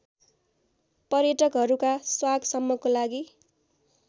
पर्यटकहरुका स्वागसम्मको लागि